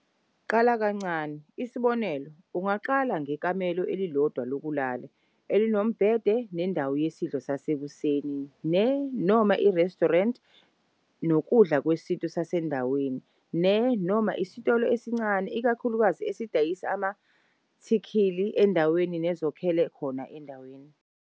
Qala kancane, isibonelo, ungaqala ngekamelo elilodwa lokulala elinombhede nendawo yesidlo sasekuseni ne, noma irestorenti nokudla kwesintu kwasendaweni ne, noma isitolo esincane ikakhulukazi esidayisa amathikhili endawo nozakhele khona endaweni.